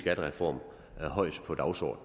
ser